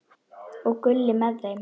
Og Gulli með þeim!